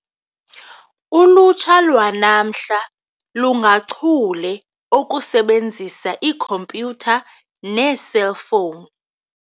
Ulutsha lwanamhla lungachule okusebenzisa ikhompyutha neeselfowuni.